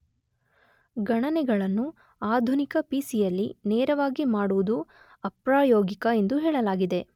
ಗಣನೆಗಳನ್ನು ಆಧುನಿಕ ಪಿಸಿಯಲ್ಲಿ ನೇರವಾಗಿ ಮಾಡುವುದು ಅಪ್ರಾಯೋಗಿಕ ಎಂದು ಹೇಳಲಾಗಿದೆ.